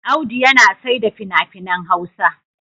Audu yana saida fina-finan Hausa.